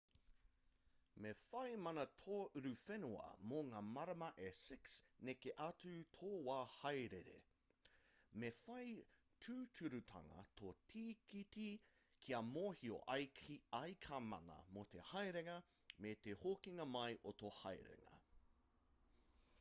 me whai mana tō uruwhenua mō ngā marama e 6 neke atu i tō wā haerere me whai tūturutanga tō tīkiti kia mōhio ai ka mana mō te haerenga me te hokinga mai o tō haerenga